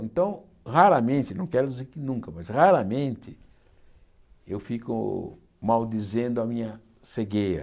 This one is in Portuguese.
Então, raramente, não quero dizer que nunca, mas raramente eu fico maldizendo a minha cegueira.